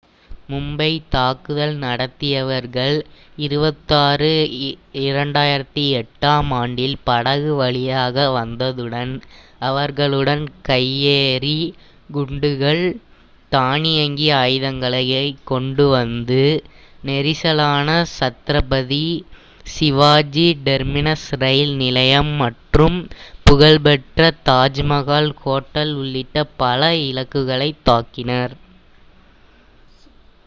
மும்பை தாக்குதல் நடத்தியவர்கள் நவம்பர் 26 2008-ஆம் ஆண்டில் படகு வழியாக வந்ததுடன் அவர்களுடன் கையெறி குண்டுகள் தானியங்கி ஆயுதங்களைக் கொண்டுவந்து நெரிசலான சத்ரபதி சிவாஜி டெர்மினஸ் ரயில் நிலையம் மற்றும் புகழ்பெற்ற தாஜ்மஹால் ஹோட்டல் உள்ளிட்ட பல இலக்குகளைத் தாக்கினர்